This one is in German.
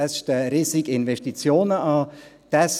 Es stehen riesige Investitionen an.